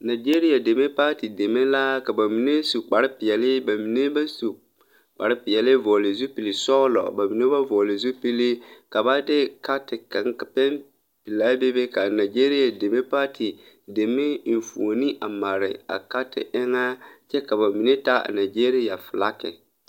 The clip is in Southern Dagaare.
Nagyeriya deme paati deme la ka ba mine su kparepeɛlle ba mine ba su kparepeɛlle vɔgle zupilsɔglɔ ba mine ba vɔgle zupili ka ba de kaati kaŋ pɛmpɛlaa bebe ka nagyeriya deme paati eŋfuoni a mare a kaati eŋɛ kyɛ ka ba mine taa a nagyeriya filaaki.